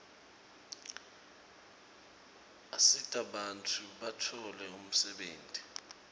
asita bantfu batfole umsebenti